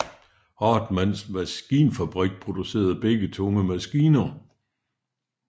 Hartmanns Maskinfabrik producerede begge tunge maskiner